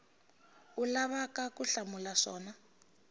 u lavaka ku hlamula swona